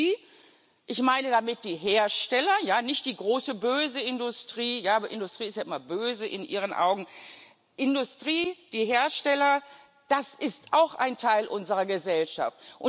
Industrie ich meine damit die Hersteller, ja, nicht die große böse Industrie aber, Industrie ist ja in Ihren Augen immer böse Industrie die Hersteller das ist auch ein Teil unserer Gesellschaft.